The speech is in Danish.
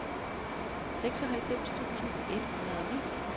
seksoghalvfems tusind et hundrede og ni